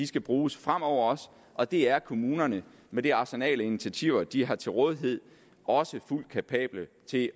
skal bruges fremover og det er kommunerne med det arsenal af initiativer de har til rådighed også fuldt kapable til